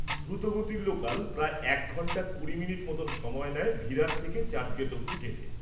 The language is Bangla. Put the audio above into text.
দ্রুত গতির লোকাল প্রায় এক ঘণ্টা কুড়ি মিনিট মতো সময় নেয় ভিরার থেকে চার্চগেট অব্দি যেতে।